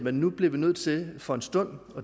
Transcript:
at nu bliver vi nødt til for en stund